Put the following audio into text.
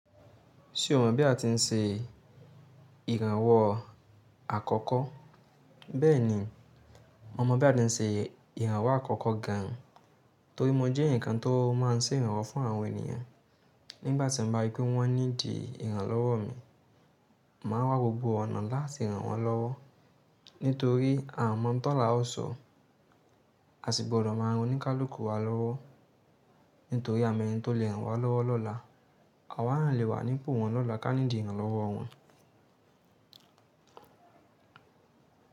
Ṣé o mọ̀ bí a ti ń se ìrànwọ́ àkọ́kọ́? Bẹ́ẹ̀ni, mo mọ̀ bí a ti ń se ìrànwọ́ àkọ́kọ́ gan, torí mo jẹ́ ǹkan tó máa ń ṣe ìrànwọ́ fún àwọn ènìyàn. Nígbà tí mo bá rí pé wọ́n need ìrànlọ́wọ́ mi, màá wá gbogbo ọ̀nà láti ràn wọ́n lọ́wọ́. Nítorí a mọ̀ ń tọ́lá ó sọ, a sì gbọ́dọ̀ máa ronú kálùkù wá lọ́wọ́. Nítorí àmọ́ ẹni tó le ràn wá lọ́wọ́ lọ́la, àwa à n lè wà ní ipò wọn lọ́la ká need ìrànlọ́wọ́ wọn.